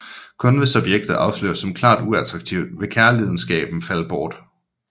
Kun hvis objektet afsløres som klart uattraktiv vil kærlidenskaben falde bort